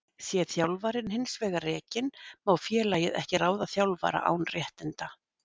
Sé þjálfarinn hins vegar rekinn má félagið ekki ráða þjálfara án réttinda.